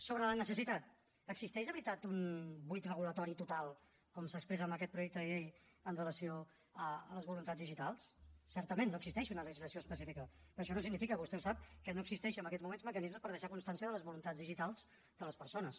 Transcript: sobre la necessitat existeix de veritat un buit regulador total com s’expressa en aquest projecte de llei amb relació a les voluntats digitals certament no existeix una legislació específica però això no significa vostè ho sap que no existeixin en aquests moments mecanismes per deixar constància de les voluntats digitals de les persones